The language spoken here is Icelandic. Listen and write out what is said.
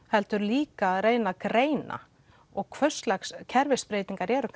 heldur líka að reyna að greina og hvurslags kerfisbreytingar eru